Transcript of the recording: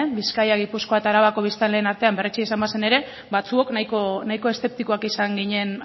bizkaia gipuzkoa eta arabako biztanleen artean berretsia izan bazen ere batzuok nahiko eszeptikoak izan ginen